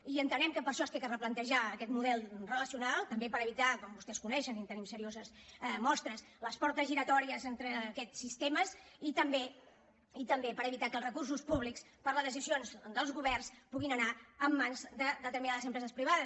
i entenem que per això s’ha de replantejar aquest model relacional també per evitar com vostès coneixen i en tenim serioses mostres les portes giratòries entre aquests sistemes i també per evitar que els recursos públics per les decisions dels governs puguin anar a mans de determinades empreses privades